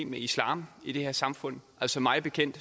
med islam i det her samfund altså mig bekendt